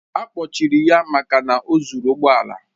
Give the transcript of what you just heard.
A kpọchiri ya maka na o zuru ụgbọ ala.